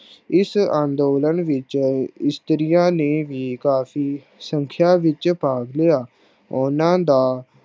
ਇਸ ਅੰਦੋਲਨ ਵਿਚ ਇਸਤਰੀਆਂ ਨੇ ਵੀ ਕਾਫੀ ਸੰਖਿਆ ਵਿਚ ਭਾਗ ਲਿਆ। ਉਹਨਾਂ ਦਾ